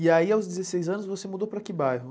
E aí aos dezesseis anos você mudou para que bairro?